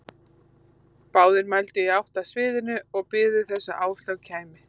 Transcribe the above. Báðir mændu í átt að sviðinu og biðu þess að Áslaug kæmi.